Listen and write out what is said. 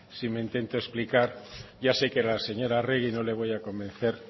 si me intento explicar ya sé que a la señora arregi no le voy a convencer